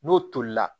N'o tolila